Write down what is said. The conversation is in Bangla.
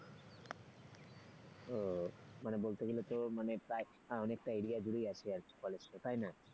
ও মানে বলতে গেলে তো মানে প্রায় অনেকটা area জুড়েই আছে কলেজটা তাই না?